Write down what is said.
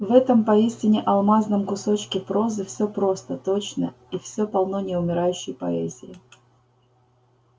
в этом поистине алмазном кусочке прозы всё просто точно и всё полно неумирающей поэзии